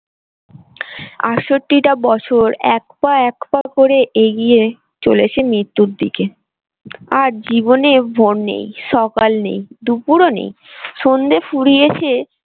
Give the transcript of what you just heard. টা বছর এক পা এক পা করে এগিয়ে চলেছে মৃত্যুর দিকে আর জীবনে ভোর নেই সকাল নেই দুপুরও নেই সন্ধ্যে ফুরিয়েছে।